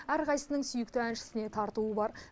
әрқайсысының сүйікті әншісіне тартуы бар